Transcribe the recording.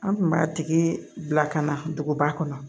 An kun b'a tigi bila ka na duguba kɔnɔ